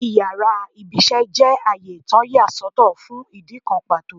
Íyarà iṣẹ jẹ àyè tọ́ ya sọ́tò fún idikán pató